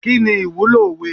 Kini ìwúlò òwe?